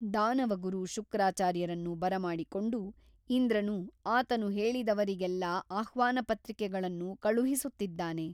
ದಾನವಗುರು ಶುಕ್ರಾಚಾರ್ಯರನ್ನು ಬರಮಾಡಿಕೊಂಡು ಇಂದ್ರನು ಆತನು ಹೇಳಿದವರಿಗೆಲ್ಲ ಆಹ್ವಾನಪತ್ರಿಕೆಗಳನ್ನು ಕಳುಹಿಸುತ್ತಿದ್ದಾನೆ.